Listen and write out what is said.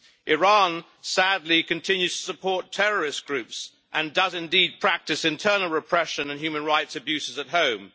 Iran, sadly, continues to support terrorist groups and does indeed practice internal repression and human rights abuses at home.